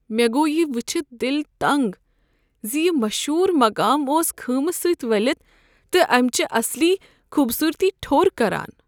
مےٚ گوٚو یہ وٕچھتھ دل تنٛگ ز یہ مشہوٗر مقام اوس خۭمہٕ سۭتۍ ؤلتھ تہٕ امِچہِ اصلی خوٗبصوٗرتی ٹھوٚر كران ۔